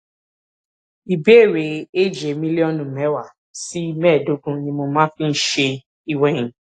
ìbéèrè èjè mílílíònù méwàá sí méèédógún ni mo máa ń fi ń ṣe ìwèyìn